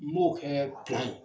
M'o kɛ ye.